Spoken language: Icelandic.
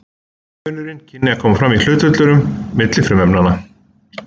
eini munurinn kynni að koma fram í hlutföllunum milli frumefnanna